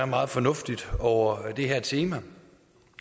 meget fornuftigt over det her tema